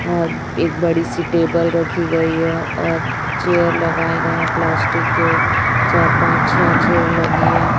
और एक बड़ी सी टेबल रखी गई है और चेयर लगाए गए प्लास्टिक के चार पांच छे चेयर लगी है।